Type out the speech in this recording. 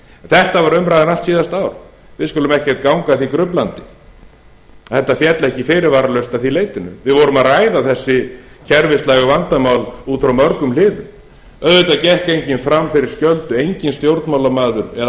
þetta var umræðan allt síðasta ár við skulum ekki ganga að því gruflandi þetta féll ekki fyrirvaralaust að því leytinu við vorum að ræða þessi kerfislægu vandamál út frá mörgum hliðum auðvitað gekk enginn fram fyrir skjöldu enginn stjórnmálamaður eða